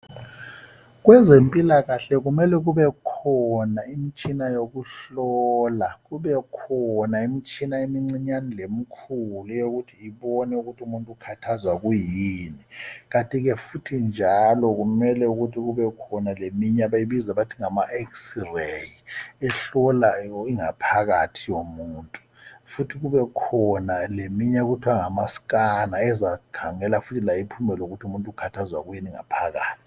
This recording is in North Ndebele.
Kwezempilakahle kumele kube khona imitshina yokuhlola. Kube khona imitshina emincinyane lemikhulu ukuze kubonakale ukuthi umuntu ikhathazwa kuyini. Kanti ke futhi njalo kumele kubekhona leminye abayibiza bethi ngama x ray ehlola ingaphakathi yomuntu. Futhi kubekhona leminye okuthiwa ngama scanner ezakhangela layo iphume lokuthi umuntu ukhathazwa kuyini ngaphakathi.